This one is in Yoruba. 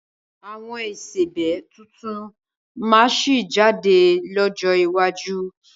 Àwọn ìsebẹ́ tuntun máa sì jáde lọ́jọ́ iwájú